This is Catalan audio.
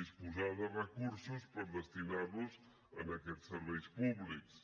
disposar de recursos per destinar los a aquests serveis públics